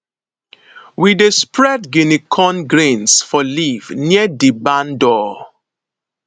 we dey spread guinea corn grains for leaves near di barn door